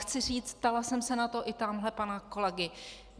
Chci říct - ptala jsem se na to i tamhle pana kolegy.